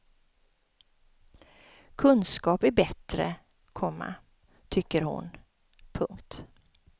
Kunskap är bättre, komma tycker hon. punkt